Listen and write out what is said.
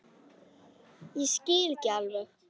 Ég skil ekki alveg